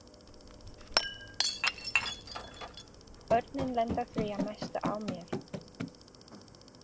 Börnin lenda því að mestu á mér.